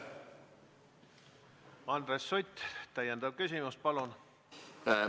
Andres Sutt, täiendav küsimus, palun!